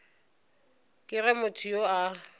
ke ge motho yo a